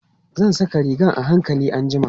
Zan saƙa rigan a hankali anjima.